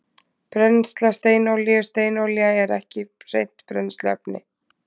Brennsla steinolíu Steinolía er ekki hreint brennsluefni.